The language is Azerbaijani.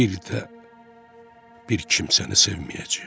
Bir də bir kimsəni sevməyəcəyəm.